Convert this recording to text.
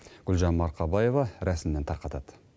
гүлжан марқабаева рәсімнен тарқатады